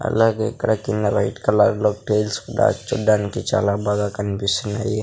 అలాగే ఇక్కడ కింద వైట్ కలర్ లో టైల్స్ కూడా చూడడానికి చాలా బాగా కనిపిస్తున్నాయి.